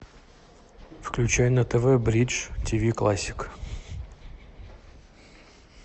включай на тв бридж тв классик